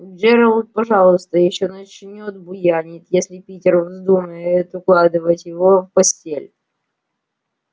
джералд пожалуй ещё начнёт буянить если питер вздумает укладывать его в постель